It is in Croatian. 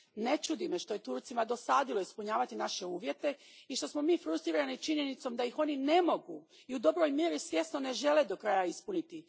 Ne čudi me što je Turcima dosadilo ispunjavati naše uvjete i što smo mi frustrirani činjenicom da ih oni ne mogu i u dobroj mjeri svjesno ne žele do kraja ispuniti.